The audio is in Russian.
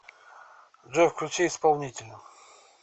джой включи исполнителя